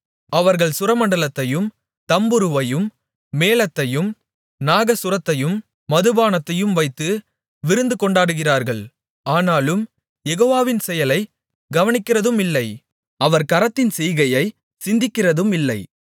அவர்கள் சுரமண்டலத்தையும் தம்புருவையும் மேளத்தையும் நாகசுரத்தையும் மதுபானத்தையும் வைத்து விருந்துகொண்டாடுகிறார்கள் ஆனாலும் யெகோவாவின் செயலை கவனிக்கிறதுமில்லை அவர் கரத்தின் செய்கையைச் சிந்திக்கிறதுமில்லை